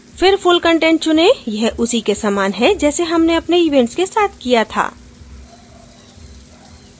फिर full content चुनें यह उसी के समान है जैसे हमने अपने events के साथ किया था